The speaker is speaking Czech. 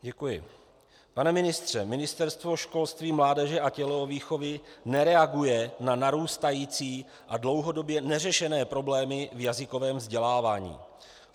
Pane ministře, Ministerstvo školství, mládeže a tělovýchovy nereaguje na narůstající a dlouhodobě neřešené problémy v jazykovém vzdělávání.